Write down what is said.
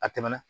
A tɛmɛna